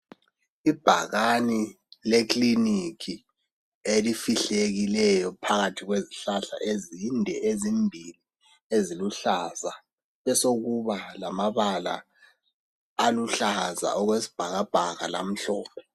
Ibhakani lekiliniki elifihlekileyo phakathi kwezihlahla ezinde ezimbili, eziluhlaza kwesokuba lamabala aluhlaza okwesibhakabha lamhlophe.